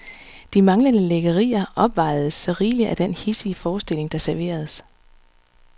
De manglende lækkerier opvejedes så rigeligt af den hidsige forestilling, der serveredes.